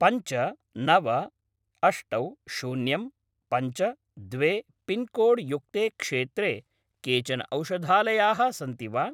पञ्च नव अष्टौ शून्यं पञ्च द्वे पिन्कोड्-युक्ते क्षेत्रे केचन औषधालयाः सन्ति वा?